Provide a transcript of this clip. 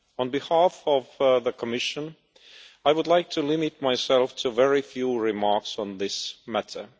On behalf of the Commission, I would like to limit myself to a very few remarks on this matter.